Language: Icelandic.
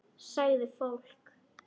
Sagði fólk.